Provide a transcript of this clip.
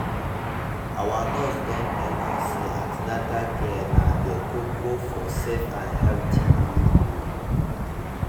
our nurse don tell us say an ten atal care na de koko for safe and healthy delivery